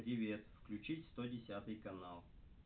привет включить сто десятый канал